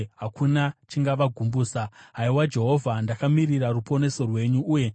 Haiwa Jehovha, ndakamirira ruponeso rwenyu, uye ndinotevera mirayiro yenyu.